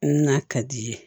N'a ka di ye